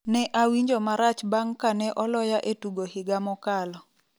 Ne awinjo marach bang' kane oloya e tugo higa mokalo.